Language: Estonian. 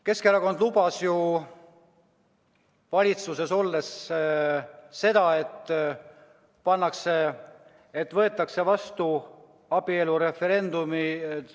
Keskerakond lubas ju valitsuses olles seda, et viiakse läbi abielureferendum.